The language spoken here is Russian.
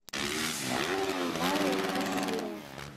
алла кассирова